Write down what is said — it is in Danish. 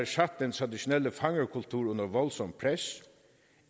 sat den traditionelle fangerkultur under voldsomt pres